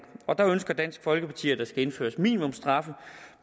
og der ønsker dansk folkeparti at der skal indføres minimumsstraffe